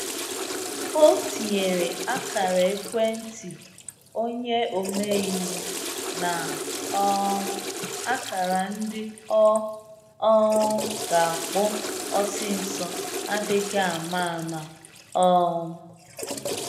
O tinyere ákara-ekwentị onye ome-iwu na um ákara ndị ọ um ga akpọ osisọ adịghị ama ama um